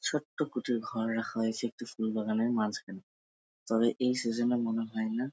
ছোট্ট কুটির ঘর রাখা হয়েছে একটি ফুল বাগানের মাঝখানে তবে এই সিজন -এ মনে হয় না--